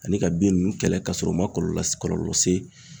Ani ka bin ninnu kɛlɛ ka sɔrɔ u ma kɔlɔlɔ la kɔlɔlɔ se